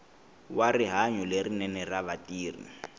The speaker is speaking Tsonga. wa rihanyo lerinene ra vatirhi